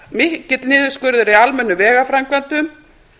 mikill niðurskurður í almennum vegaframkvæmdum